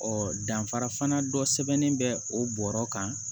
danfara fana dɔ sɛbɛnnen bɛ o bɔrɔ kan